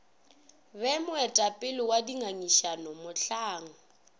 be moetapele wa dingangišano mohlang